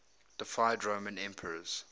deified roman emperors